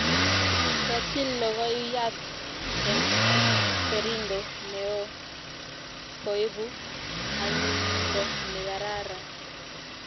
Ketil logoiyat eng kerindo ne o koipu anyinyindo ne kararan